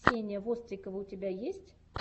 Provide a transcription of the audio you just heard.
ксения вострикова у тебя есть